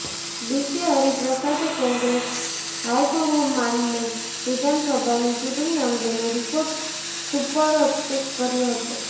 બીકે હરીપ્રસાદે કોંગ્રેસ હાઈકમાન્ડને વિધાનસભાની ચૂંટણી અંગેનો રિપોર્ટ સુપરત કર્યો હતો